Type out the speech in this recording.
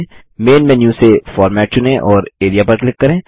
man menu से format चुनें और एआरईए पर क्लिक करें